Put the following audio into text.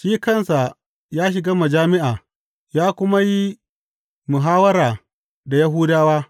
Shi kansa ya shiga majami’a ya kuma yi muhawwara da Yahudawa.